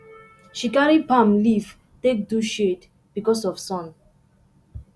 she carry palm leaf take do shade because of sun